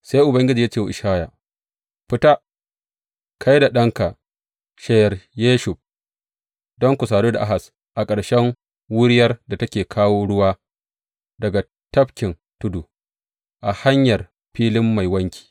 Sai Ubangiji ya ce wa Ishaya, Fita, kai da ɗanka Sheyar Yashub, don ku sadu da Ahaz a ƙarshen wuriyar da take kawo ruwa daga Tafkin Tudu, a hanyar Filin Mai Wanki.